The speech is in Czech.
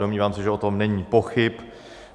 Domnívám se, že o tom není pochyb.